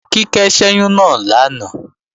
Kíkẹ́ ṣẹ́yún náà lánàá